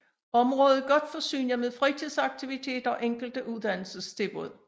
Området er godt forsynet med fritidsaktiviteter og enkelte uddannelsestilbud